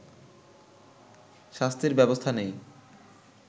শাস্তির ব্যবস্থা নেই